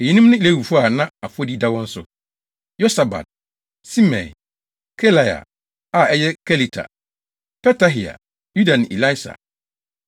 Eyinom ne Lewifo a na afɔdi da wɔn so: Yosabad, Simei, Kelaia, a ɛyɛ Kelita, Petahia, Yuda ne Elieser.